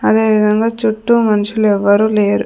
అదేవిధంగా చుట్టూ మనుషులు ఎవ్వరు లేరు.